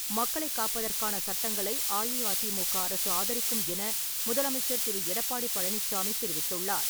மக்களைக் காப்பதற்கான சட்டங்களை அஇஅதிமுக அரசு ஆதரிக்கும் என முதலமைச்சர் திரு. எடப்பாடி பழனிச்சாமி தெரிவித்துள்ளார்.